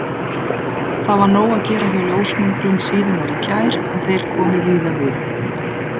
Það var nóg að gera hjá ljósmyndurum síðunnar í gær en þeir komu víða við.